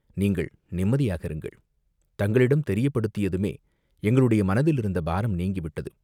நீங்கள் நிம்மதியாக இருங்கள்!" "தங்களிடம் தெரியப்படுத்தியதுமே எங்களுடைய மனத்திலிருந்த பாரம் நீங்கிவிட்டது!